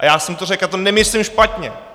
A já jsem to řekl, a to nemyslím špatně.